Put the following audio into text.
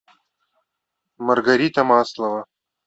маргарита маслова